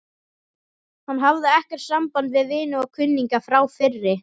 Hann hafði ekkert samband við vini og kunningja frá fyrri